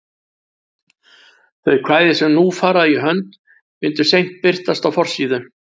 Þau kvæði sem nú fara í hönd myndu seint birtast á forsíðu